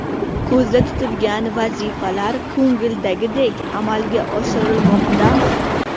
Ko‘zda tutilgan vazifalar ko‘ngildagidek amalga oshirilmoqdami?